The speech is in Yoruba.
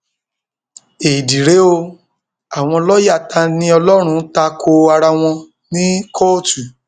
éèdì rèé o àwọn lọọyà taniọlọrun ta ko ara wọn ní kóòtù